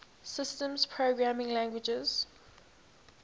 systems programming languages